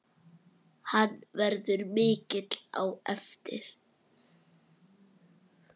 Hann verður mikill á eftir.